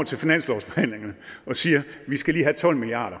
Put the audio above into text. til finanslovsforhandlingerne siger vi skal lige have tolv milliard